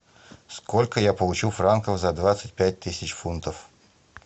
сколько я получу франков за двадцать пять тысяч фунтов